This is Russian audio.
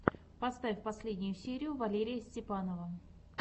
поставь последнюю серию валерия степанова